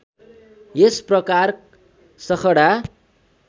यस प्रकार सखडा